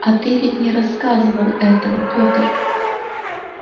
а ты ведь не рассказывал этого петр